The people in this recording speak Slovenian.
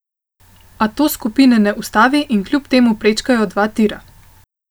A to skupine ne ustavi in kljub temu prečkajo dva tira.